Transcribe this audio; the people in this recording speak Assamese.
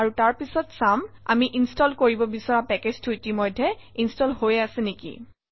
আৰু তাৰপিছত চাম আমি ইনষ্টল কৰিব বিচৰা পেকেজটো ইতিমধ্যেই ইনষ্টল হৈ আছে নেকি